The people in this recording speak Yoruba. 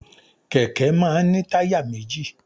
Kẹ̀kẹ́ máà ń ní táyà méjì.